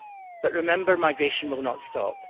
But remember migration will not stop.